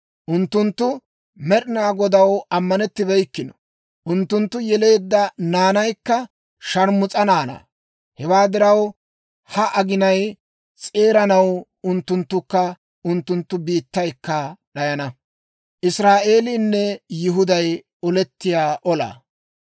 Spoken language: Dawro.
Unttunttu Med'inaa Godaw ammanettibeykkino; unttunttu yeleedda naanaykka sharmus's'aa naanaa. Hewaa diraw, ha aginay s'eeranaw, unttunttukka unttunttu biittaykka d'ayana.